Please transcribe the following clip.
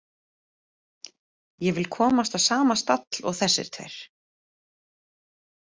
Ég vil komast á sama stall og þessir tveir.